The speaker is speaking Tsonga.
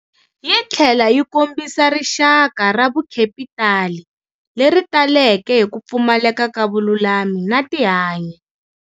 Yi tlhela yi kombisa rixaka ra vukhepitali leri taleke hi ku pfumaleka ka vululami na tihanyi.